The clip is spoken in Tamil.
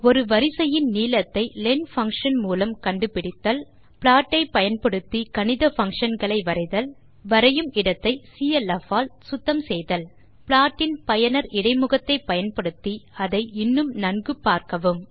ஒரு வரிசையின் நீளத்தை லென் பங்ஷன் மூலம் கண்டு பிடித்தல் ப்ளாட் ஐ பயன்படுத்தி கணித பங்ஷன் களை வரைதல் வரையும் இடத்தை சிஎல்எஃப் ஆல் சுத்தம் செய்தல் ப்ளாட் இன் பயனர் இடைமுகத்தை பயன்படுத்தி அதை இன்னும் நன்கு பார்க்கவும்